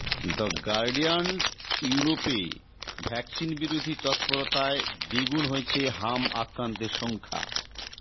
the গার্ডিয়ানইউরোপে ভ্যাকসিনবিরোধী তৎপরতায় দ্বিগুণ হয়েছে হাম আক্রান্তের সংখ্যা